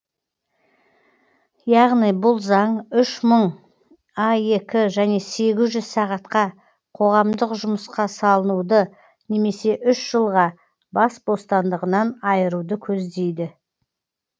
яғни бұл заң үш мың аек және сегіз жүз сағатқа қоғамдық жұмысқа салынуды немесе үш жылға бас бостандығынан айыруды көздейді